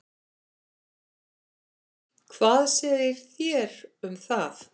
Hvað segið þér um það?